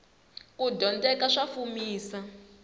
kudyondzeka sa fumisa